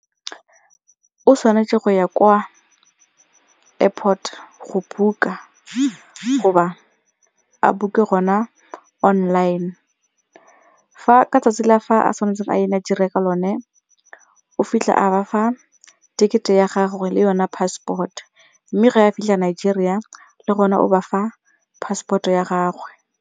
O tshwanetse go ya kwa airport go book-a goba a book-e gona online ka 'tsatsi la fa a tshwanetseng a ye Nigeria ka lone o fitlha a ba fa ticket-e ya gagwe le yone passport mme ga a fitlhela Nigeria le gone o ba fa passport ya gagwe.